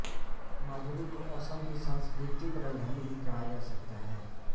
माजुली को असम की सांस्कृतिक राजधानी भी कहा जा सकता है